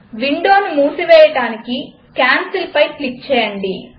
విండోను మూసివేయడానికి Cancelపై క్లిక్ చేయండి